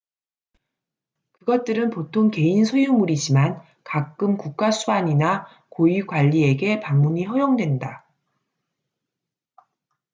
그것들은 보통 개인 소유물이지만 가끔 국가수반이나 고위 관리에게 방문이 허용된다